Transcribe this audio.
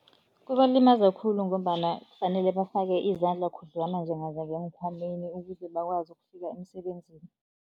Kubalimaza khulu ngombana fanele bafake izandla khudlwana njenganje ngeenkhwameni ukuze bakwazi ukufika emisebenzini.